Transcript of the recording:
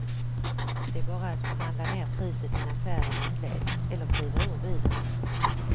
Det är bara att förhandla ner priset innan färden inleds, eller kliva ur bilen.